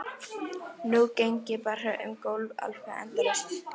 Nú geng ég bara um gólf, alveg endalaust.